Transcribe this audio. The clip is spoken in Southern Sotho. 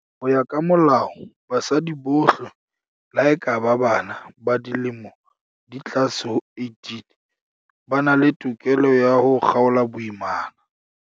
Ho ya ka Molao, basadi bohle, le ha e ka ba bana ba dilemo di ka tlase ho 18, ba na le tokelo ya ho kgaola boimana.